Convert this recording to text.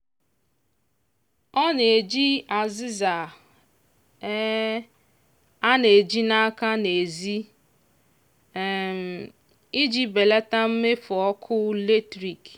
ọ na-eji azịza um a na-eji n'aka n'ezi um iji belata mmefu ọkụ latrik.